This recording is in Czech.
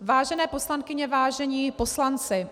Vážené poslankyně, vážení poslanci,